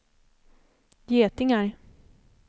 getingar